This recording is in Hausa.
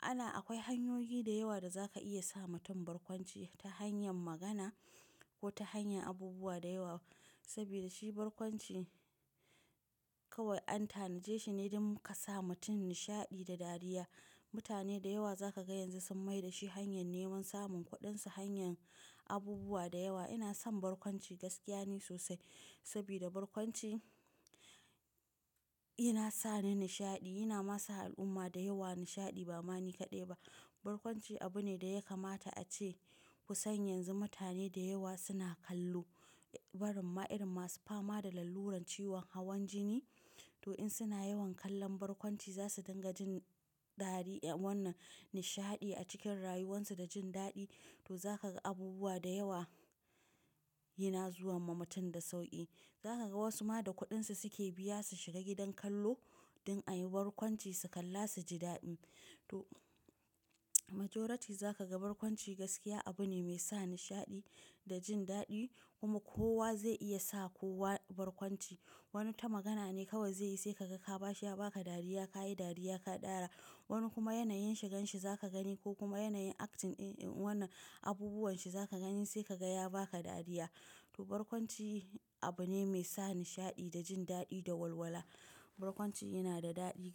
Ana-- akwai hanyoyi da yawa da za ka iya sa mutum barkwanci ta hanyar magana ko ta hanyar abubuwa da yawa saboda shi barkwanci kawai anta na je shi ne don ka sa mutum nishaɗi da dariya. Mutane da yawa za ka ga yanzu sun mai da shi hanyar neman samun kuɗin su, hanyar abubuwa da yawa. Ina son barkwanci, gaskiya ne sosai saboda barkwanci yana sa ni nishaɗi, yana ma sa al'umma da yawa nishaɗi ba ma ni kaɗai ba. Barkwanci abu ne da ya kamata ace kusan yanzu mutane da yawa suna kallo. Barin ma'airun masu fama da lalluran ciwon hawan jini, to in suna yawan kallon barkwanci za su dinga jin dariya wannan nishaɗi a cikin rayuwan su da jin daɗi. To za ka ga abubuwa da yawa yana zuwa ma mutum da sauƙi. Za ka ga wasu ma da kuɗin su suke biya su shiga gidan kallo don a yi barkwanci su kalla su ji daɗi. To majaruti za ka ga barkwanci gaskiya abu ne mai sa nishaɗi da jin daɗi kuma kowa zai iya sa kowa barkwanci. Wani ta magana ne kawai zai yi, sai ka ga ka ba shi ya ba ka dariya, ka yi dariya ka dara. Wani kuma yanayin shigan shi za ka gani ko kuma yanayin acting in wannan abubuwan shi za ka gani sai ka ga ya ba ka dariya. To barkwanci abu ne mai sa nishaɗi da jin daɗi da walwala. Barkwanci yana da daɗi.